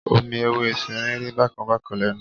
Omi ewé efinrin rí bákan bákan lẹ́nu.